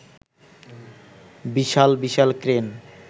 বিশাল বিশাল ক্রেন